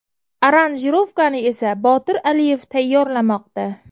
Aranjirovkani esa Botir Aliyev tayyorlamoqda.